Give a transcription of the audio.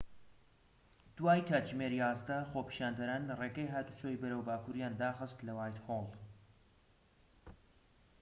دوای کاتژمێر ١١، خۆپیشاندەران ڕێگەی هاتوچۆی بەرەو باکوریان داخست لە وایتهۆڵ